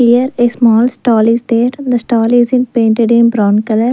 here a small stall is there the stall is in painted in brown color.